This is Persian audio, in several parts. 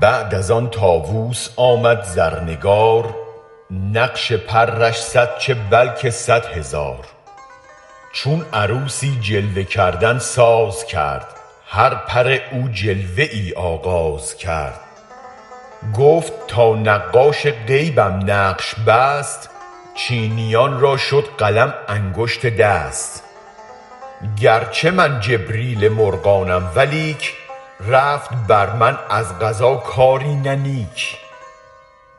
بعد از آن طاووس آمد زرنگار نقش پرش صد چه بلکه صد هزار چون عروسی جلوه کردن ساز کرد هر پر او جلوه ای آغاز کرد گفت تا نقاش غیبم نقش بست چینیان را شد قلم انگشت دست گر چه من جبریل مرغانم ولیک رفت بر من از قضا کاری نه نیک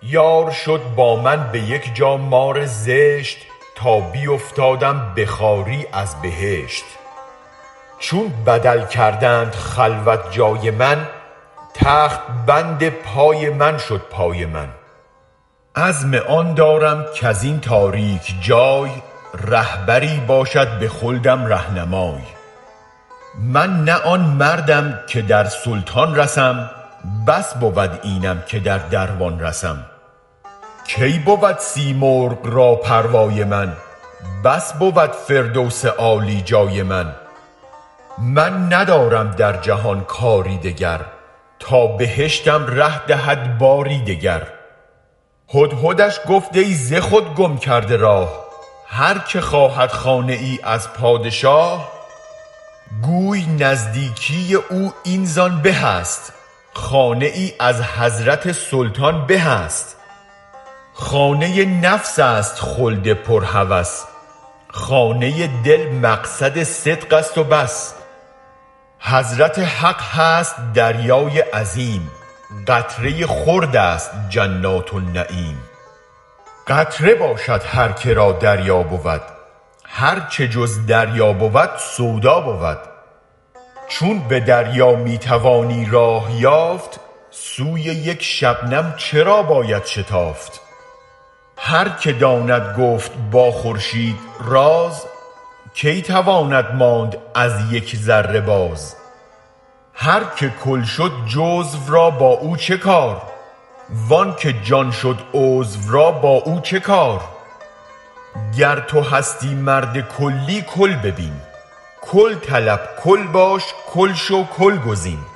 یار شد با من به یک جا مار زشت تا بیفتادم به خواری از بهشت چون بدل کردند خلوت جای من تخت بند پای من شد بای من عزم آن دارم کزین تاریک جای رهبری باشد به خلدم رهنمای من نه آن مردم که در سلطان رسم بس بود اینم که در دروان رسم کی بود سیمرغ را پروای من بس بود فردوس عالی جای من من ندارم در جهان کاری دگر تا بهشتم ره دهد باری دگر هدهدش گفت ای ز خود گم کرده راه هر که خواهد خانه ای از پادشاه گوی نزدیکی او این زآن به است خانه ای از حضرت سلطان به است خانه نفس است خلد پر هوس خانه دل مقعد صدق است و بس حضرت حق هست دریای عظیم قطره خرد است جنات النعیم قطره باشد هر که را دریا بود هر چه جز دریا بود سودا بود چون به دریا می توانی راه یافت سوی یک شبنم چرا باید شتافت هر که داند گفت با خورشید راز کی تواند ماند از یک ذره باز هر که کل شد جزو را با او چه کار وآن که جان شد عضو را با او چه کار گر تو هستی مرد کلی کل ببین کل طلب کل باش کل شو کل گزین